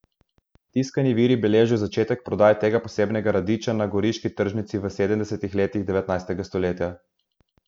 Tiskani viri beležijo začetek prodaje tega posebnega radiča na goriški tržnici v sedemdesetih letih devetnajstega stoletja.